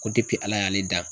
Ko ala y'ale dan